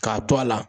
K'a to a la